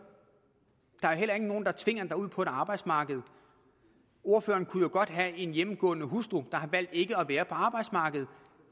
er heller ikke nogen der tvinger en ud på arbejdsmarkedet ordføreren kunne jo godt have en hjemmegående hustru der har valgt ikke at være på arbejdsmarkedet